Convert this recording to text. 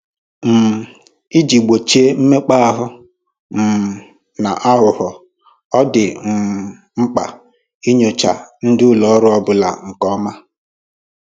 um Iji gbochie mmekpa ahụ um na aghụghọ, ọ dị um mkpa inyocha ndị ụlọ ọrụ ọbụla nke ọma